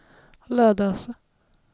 Lödöse